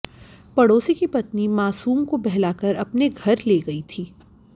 पड़ोसी की पत्नी मासूम को बहलाकर अपने घर ले गई थी